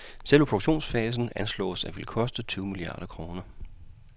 Selve produktionsfasen anslås at ville koste tyve milliarder kroner.